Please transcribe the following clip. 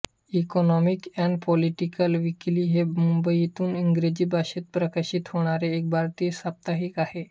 economic and political weekly हे मुंबईतून इंग्रजी भाषेत प्रकाशित होणारे एक भारतीय साप्ताहिक आहे